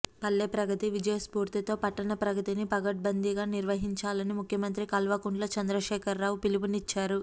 పల్లె ప్రగతి విజయస్ఫూర్తితో పట్టణ ప్రగతిని పకడ్బందీగా నిర్వహించాలని ముఖ్యమంత్రి కల్వకుంట్ల చంద్రశేఖర్రావు పిలుపునిచ్చారు